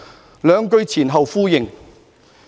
"這兩句前後呼應。